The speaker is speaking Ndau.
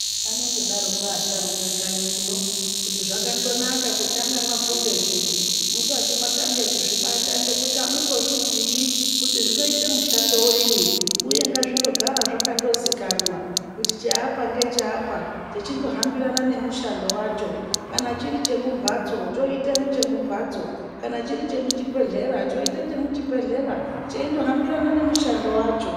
Vanondodaroko vasharuka kanyi uno, kuti zvakandonaka kutange mwafunda zviro musati mwatange kuzvibata, ngekuti amuzozvizii kuti zvinoita mushando wenyi. Uye ngazvindogara zvakandozikanwa kuti cheapa ngecheapa, zvechindohambirana ngemushando wacho. Kana chiri chemumhatso choite chomumhatso. Kana chiri chemuchibhedhlera choite chemuchibhedhlera, cheindo hambirana nemushando wacho.